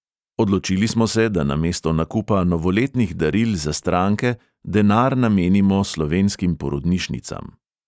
Odločili smo se, da namesto nakupa novoletnih daril za stranke denar namenimo slovenskim porodnišnicam.